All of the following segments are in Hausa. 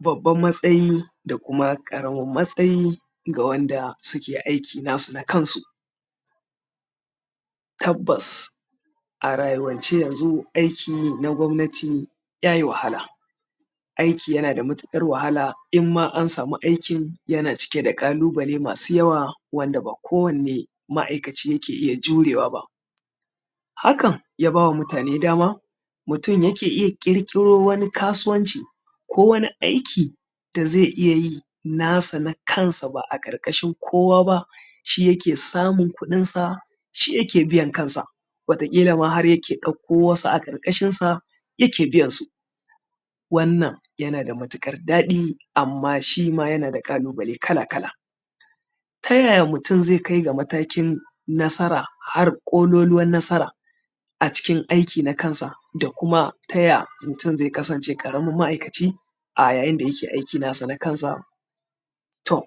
Babban matayi da kuma ƙaramin matsayi ga wadda suke aiki nasu na kansu. Tabbas a rayuwance yanzu aiki na gwamnati ya yi wahala, aiki yana da matuƙar wahala in ma an samu aikin yana cike da ƙalubale masu yawa wanda ba ko wanne ma’aikaci ke iya jurewa ba. Hakan yaba wa mutane dama mutum yake iya ƙirƙiro wani kasuwanci ko wani aiki da ze iya yi nasa na kansa, ba a ƙarƙashin kowa ba shi yake samun kuɗinsa, shi yake biyan kansa wataƙila ma har ya ɗauko wasu a ƙarƙashinsa yake biyansu. Wannan yana da matuƙar daɗi amma shi ma yana da ƙalubale kala-kala. Ta yaya mutum ze kai matakin nasara har ƙololuwan nasara a cikin aiki na kansa? Da kuma ta yaya mutum ze kasance ƙaramin ma’aikaci a yayin da yake aiki nasa na kansa? To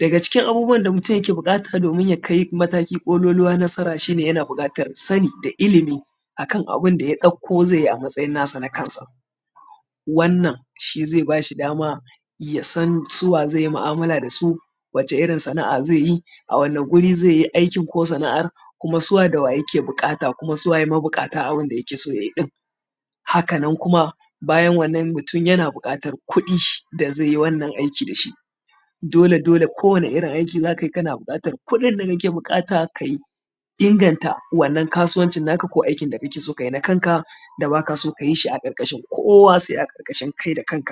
daga cikin abun da mutum yake buƙata ya kai aiki na san a ƙololuwa shi ne, yana buƙatar sani da ilimi akan abun da ya ɗauko nasa nakansa. Wannan shi ze bashi dama ya san su wa ze mu’amala da su wace irin sana’a ze yi a wani wuri ze yi aikin ko sana’ar? Kuma su wa dawa ze buƙata, kuma su waye mabuƙata a wurin da yake siye ɗin? Hakan nan kuma bayan wannan mutum yana buƙatan kuɗi da ze yi wannan aiki da shi dole-dole kowani irin wannan aiki da ze yi kana buƙatan kuɗin da kake buƙata ka yi domin ka inganta wannan kasuwancin ko aikin da kake so ka yi da kanka wanda ba ka yi shi a ƙarƙarshin kowa, se a ƙarƙashin kanka da kanka.